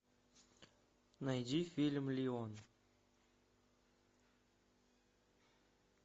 найди фильм леон